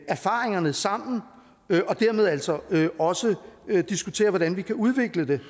erfaringerne sammen og dermed altså også kan diskutere hvordan vi kan udvikle det